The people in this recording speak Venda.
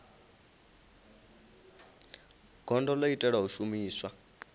gondo ḽo itelwa u shumiswa